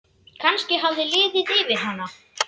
Kannski hafði liðið yfir hana.